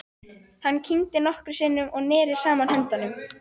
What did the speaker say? Hann kyngdi nokkrum sinnum og neri saman höndunum.